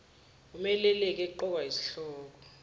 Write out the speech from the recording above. wumeluleki eqokwa yisihlobo